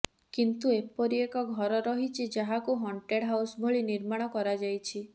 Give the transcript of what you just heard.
କିନ୍ତୁ ଏପରି ଏକ ଘର ରହିଛି ଯାହାକୁ ହଣ୍ଟେଡ ହାଉସ୍ ଭଳି ନିର୍ମାଣ କରାଯାଇଛି